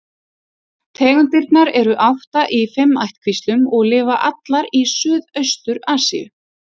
Tegundirnar eru átta í fimm ættkvíslum og lifa allar í Suðaustur-Asíu.